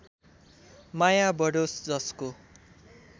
माया बढोस् जसको